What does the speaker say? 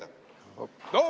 Aitäh!